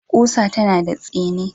Ƙusa tana da tsini.